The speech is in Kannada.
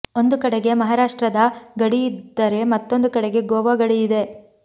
ಒಂದು ಕಡೆಗೆ ಮಹಾರಾಷ್ಟ್ತ್ರದ ಗಡಿಯಿ ದ್ದರೆ ಮತ್ತೊಂದು ಕಡೆಗೆ ಗೋವಾ ಗಡಿಯಿದೆ